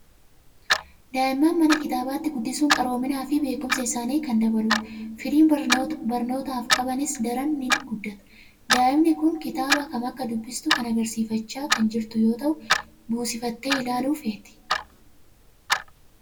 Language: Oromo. Daa'imman mana kitaabaatti guddisuun qaroominaa fi beekumsa isaanii kan dabaludha. Fedhiin barnootaaf qabanis daran ni guddata. Daa'imni kun kitaaba kam akka dubbistu kan agarsiifachaa kan jirtu yoo ta'u, buusifattee ilaaluu feeti.